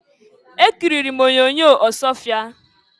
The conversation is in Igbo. Ekiriri m onyoonyo Ọsụọfịa.